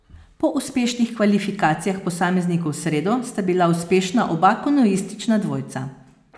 Po uspešnih kvalifikacijah posameznikov v sredo, sta bila uspešna oba kanuistična dvojca.